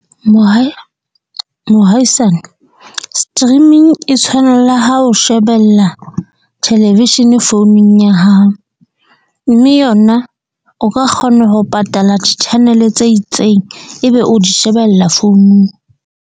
Mohaisane streaming e tshwana le ha o shebella television founung ya hao. Mme yona o ka kgona ho patala channel-e tse itseng ebe o di shebella founung.